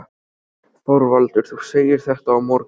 ÞORVALDUR: Þú segir þetta á morgun?